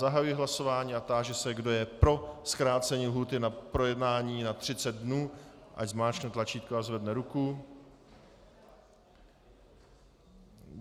Zahajuji hlasování a táži se, kdo je pro zkrácení lhůty na projednání na 30 dnů, ať zmáčkne tlačítko a zvedne ruku.